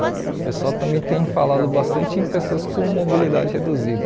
O pessoal também tem falado bastante em pessoas com mobilidade reduzida.